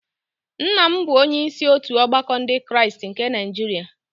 nna m bụ onye isi otu ọgbakọ Ndị Kraịst nke Niajiria